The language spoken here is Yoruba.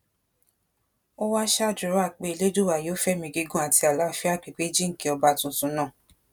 ó wáá ṣàdúrà pé elédùà yóò fẹmí gígùn àti àlàáfíà pípé jíǹkí ọba tuntun náà